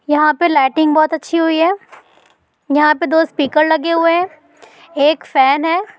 यहां पर लाइटिंग बहुत अच्छी हुई है यहां पर दो स्पीकर लगे हुए हैं एक फैन है।